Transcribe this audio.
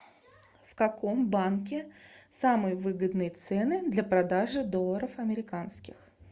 в каком банке самые выгодные цены для продажи долларов американских